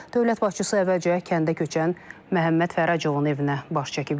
Dövlət başçısı əvvəlcə kəndə köçən Məhəmməd Fəracovun evinə baş çəkib.